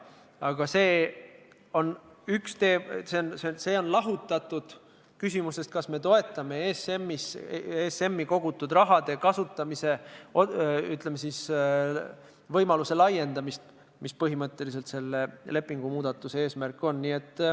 Aga see on lahutatud küsimusest, kas me toetame ESM-i kogutud raha kasutamise võimaluse laiendamist, mis on põhimõtteliselt selle lepingumuudatuse eesmärk.